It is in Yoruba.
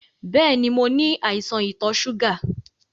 Bẹ́ẹ̀ni, mo ní àìsàn ìtò ṣúgà.